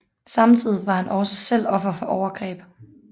Samtidig var han også selv offer for overgreb